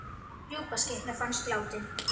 Rjúpnaskytta fannst látin